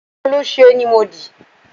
Kòlẹ́sẹ̀ ni mo dì.